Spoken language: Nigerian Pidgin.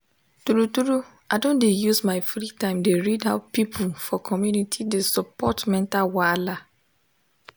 true true i don dey use my free time dey read how people for community dey support mental wahala.